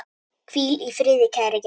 Hvíl í friði, kæri Geir.